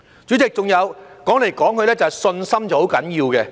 主席，還有，說來說去，信心是很重要的。